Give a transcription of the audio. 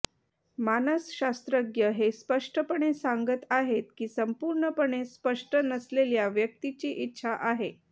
मानसशास्त्रज्ञ हे स्पष्टपणे सांगत आहेत की संपूर्णपणे स्पष्ट नसलेल्या व्यक्तीची इच्छा आहे